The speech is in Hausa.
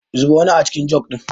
Zuba wani acikin jug ɗin.